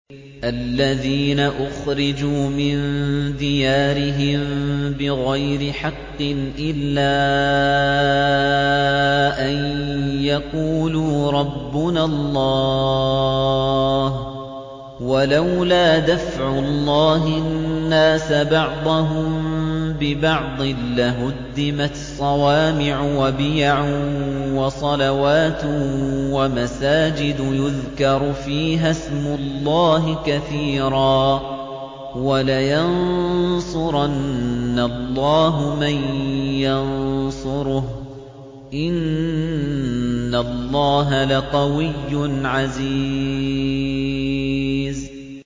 الَّذِينَ أُخْرِجُوا مِن دِيَارِهِم بِغَيْرِ حَقٍّ إِلَّا أَن يَقُولُوا رَبُّنَا اللَّهُ ۗ وَلَوْلَا دَفْعُ اللَّهِ النَّاسَ بَعْضَهُم بِبَعْضٍ لَّهُدِّمَتْ صَوَامِعُ وَبِيَعٌ وَصَلَوَاتٌ وَمَسَاجِدُ يُذْكَرُ فِيهَا اسْمُ اللَّهِ كَثِيرًا ۗ وَلَيَنصُرَنَّ اللَّهُ مَن يَنصُرُهُ ۗ إِنَّ اللَّهَ لَقَوِيٌّ عَزِيزٌ